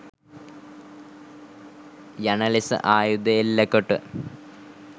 යන ලෙස ආයුධ එල්ලකොට